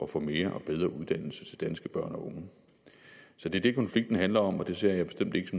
få mere og bedre uddannelse til danske børn og unge så det er det konflikten handler om og det ser jeg bestemt ikke